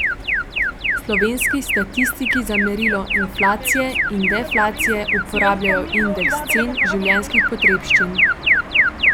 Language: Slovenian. Slovenski statistiki za merilo inflacije in deflacije uporabljajo indeks cen življenjskih potrebščin.